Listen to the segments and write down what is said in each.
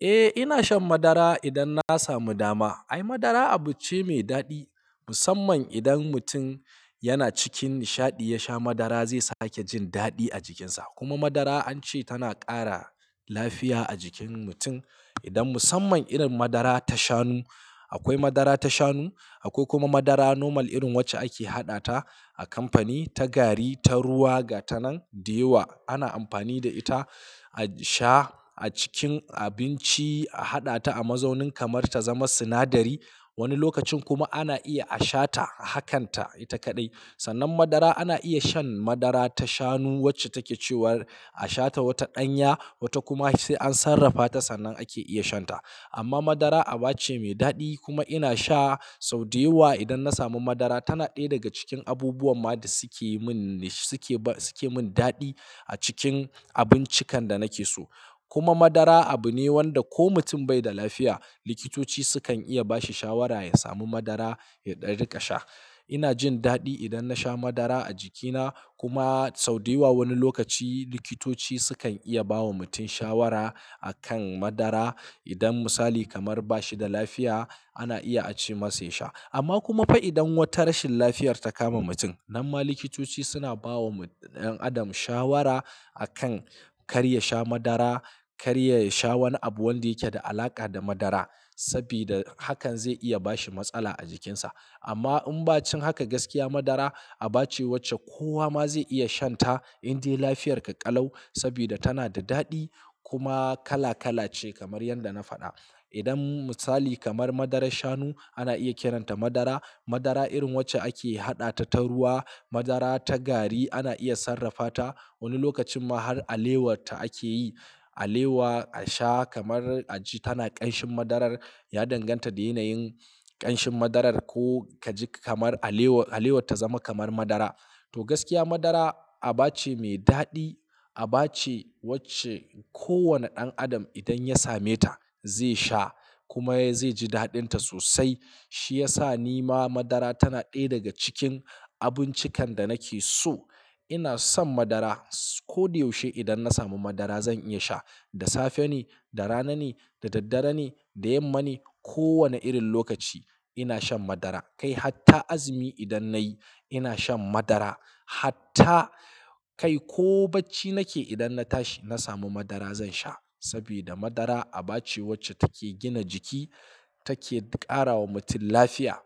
Eh, ina shan madara idan na samu dama. Ai madara abu ce mai daɗi musamman idan mutum yana cikin nishaɗi ya sha madara zai sake jin daɗi a jikinsa. Kuma madara an ce tana ƙara lafiya a jikin mutum idan musamman irin madara ta shanu. Akwai madara ta shanu, akwai kuma madara normal irin wacce ake haɗa ta a kamfani ta gari, ta ruwa ga ta nan. Da yawa ana amfani da ita a sha a cikin abinci, a haɗa ta a mazaunin kamar ta zama sinadari. Wani lokacin kuma ana iya a shata hakanta ita kaɗai. Sannan madara ana iya shan madara ta shanu wacce take cewar a shata wata ɗanya, wata kuma sai an sarrafa ta sannan ake iya shan ta. Amma madara aba ce mai daɗi kuma ina sha. Sau da yawa idan na samu madara tana ɗaya daga cikin abubuwan ma da suke mun, suke ba, suke mun daɗi a cikin abincikan da nake so. Kuma madara abu ne wanda ko mutum bai da lafiya likitoci sukan iya ba shi shawara ya sami madara ya dan riƙa sha. Ina jin daɗi idan na sha madara a jikina. Kuma sau da yawa wani lokaci likitoci sukan iya bawa mutum shawara a kan madara. Idan misali kamar bashi da lafiya ana iya a ce masa ya sha. Amma kuma fa idan wata rashin lafiyar ta kama mutum, nan ma likitoci suna bawa ɗan adam shawara a kan kar ya sha madara, kar ya sha wani abu wanda yake da alaƙa da madara. Saboda hakan zai iya bashi matsala a jikinsa. Amma in ba cin haka gaskiya madara aba ce wacce kowa ma zai iya shan ta indai lafiyarka ƙalau. Saboda tana da daɗi kuma kala kala ce kamar yadda na faɗa. Idan misali kamar madarar shanu ana iya kiran ta madara. Madara irin wacce ake haɗa ta ta ruwa, madara ta gari ana iya sarrafa ta. Wani lokacin ma har alewar ta ake yi. Alewa a sha kamar a ji tana ƙanshin madarar, ya danganta da yanayin ƙanshin madarar. Ko ka ji kamar alewa, alewar ta zama kamar madara. To, gaskiya madara aba ce mai daɗi aba ce wacce ko wane ɗan adam idan ya same ta zai sha kuma zai ji daɗin ta sosai. Shi ya sa ni ma madara tana ɗaya daga cikin abincikan da nake so. Ina son madara. Ko da yaushe idan na samu madara zan iya sha. Da safe ne, da rana ne, da daddare ne, da yamma ne, ko wane irin lokaci ina shan madara. Kai hatta azumi idan nayi ina shan madara. Hatta kai ko bacci nake idan na tashi na samu madara zan sha. Saboda madara aba ce wacce take gina jiki, take ƙara wa mutum lafiya.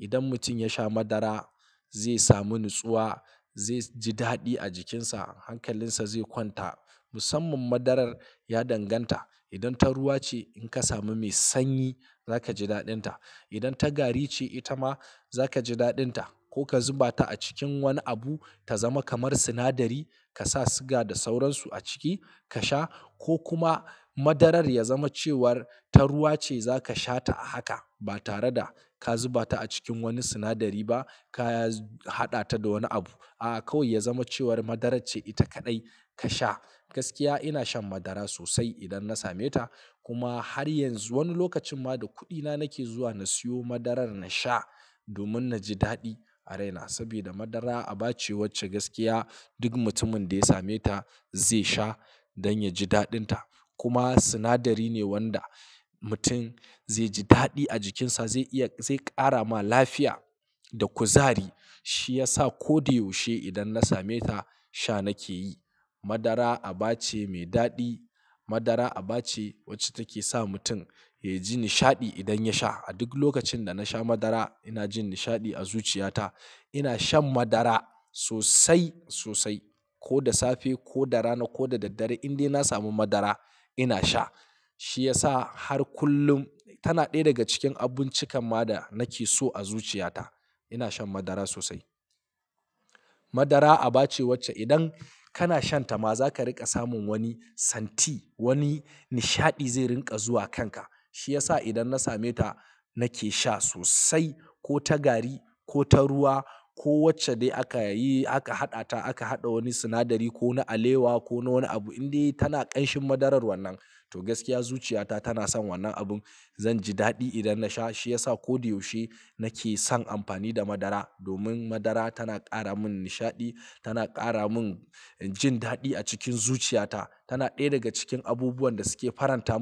Idan mutum ya sha madara zai samu natsuwa, zai ji daɗi a jikinsa, hankalinsa zai kwanta musamman madarar ya danganta idan ta ruwa ce in ka samu mai sanyi za ka ji daɗin ta. Idan ta gari ce ita ma za ka ji daɗin ta ko ka zuba ta a cikin wani abu ta zama kamar sinadari. Ka sa siga da sauransu a ciki ka sha ko kuma madarar ya zama cewar ta ruwa ce za ka sha ta a haka ba tare da ka zuba ta a cikin wani sinadari ba. Ka haɗa ta da wani abu. A'a kawai ya zama cewar madarar ce ita kaɗai ka sha. Gaskiya ina shan madara sosai idan na same ta. Kuma har yanzu wani lokacin ma da kuɗina nake zuwa na siyo madarar na sha domin na ji daɗi a raina. Saboda madara aba ce wacce gaskiya duk mutumin da ya same ta zai sha don ya ji daɗin ta. Kuma sinadari ne wanda mutum zai ji daɗi a jikinsa zai iya, zai ƙara ma lafiya da kuzari. Shi ya sa ko da yaushe idan na same ta sha nake yi. Madara aba ce mai daɗi. Madara aba ce wacce take sa mutum ya ji nishaɗi idan ya sha. A duk lokacin da na sha madara ina jin nishaɗi a zuciyata. Ina shan madara sosai, sosai. Ko da safe, ko da rana, ko da daddare indai na samu madara ina sha. Shi ya sa har kullum tana ɗaya daga cikin abincikan ma da nake so a zuciyata. Ina shan madara sosai. Madara aba ce wacce idan kana shan ta ma za ka riƙa samun wani santi, wani nishaɗi zai riƙa zuwa kanka. Shi ya sa idan na same ta nake sha sosai ko ta gari, ko ta ruwa, ko wacce dai aka yi aka haɗa ta. Aka haɗa wani sinadari ko na alewa ko na wani abu indai tana ƙanshin madarar wannan. To, gaskiya zuciyata tana son wannan abin. Zan ji daɗi idan na sha. Shi ya sa ko da yaushe nake son amfani da madara. Domin madara tana ƙara mun nishaɗi, tana ƙara mun jin daɗi a cikin zuciyata. Tana ɗaya daga cikin abubuwan da suke faranta.